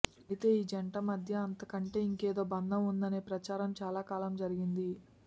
అయితే ఈ జంట మధ్య అంతకంటే ఇంకేదో బంధం ఉందనే ప్రచారం చాలా కాలం జరిగింది